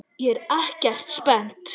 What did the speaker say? ÉG ER EKKERT SPENNT!